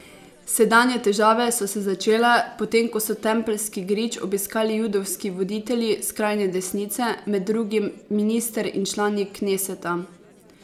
Sedanje težave so se začele, potem ko so Tempeljski grič obiskali judovski voditelji skrajne desnice, med drugim minister in člani kneseta.